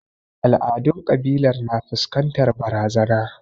Al'adun kabilar na fuskantar barazana.